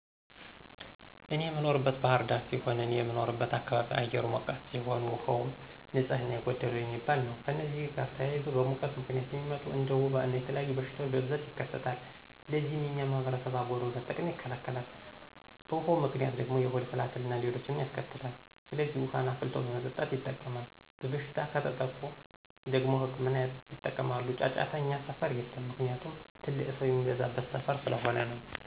እኔ የምኖረው ባህር ዳር ሲሆን፤ እኔ በምኖርበት አካባቢ አየሩ ሞቃታ ሲሆን፤ ውሃውም ንፅህና የጎደለው የሚባል ነው። ከእነዚህም ጋር ተያይዞ በሙቀት ምክንያት የሚመጡ እንደ ወባ እና የተለያዩ በሽታወች በብዛት ይከሰታል። ለዚህም የኛ ማህበረሰብ አጎበር በመጠቀም ይከላከላል። በውሀው ምክንያት ደግሞ የሆድ ትላትል አና ሌሎችንም ያስከትላል። ስለዚህ ውሀን አፍልቶ በመጠጣት ይጠቀማል። በበሽታ ከተጠቁ ደግሞ ህክምና ያጠቀማሉ። ጫጫታ እኛ ሰፈር የለም። ምክንያቱም ትልቅ ሰው የሚበዛበት ሰፈር ስለሆነ ነው።